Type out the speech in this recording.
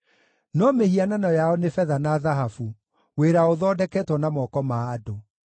No mĩhianano yao nĩ betha na thahabu, wĩra ũthondeketwo na moko ma andũ.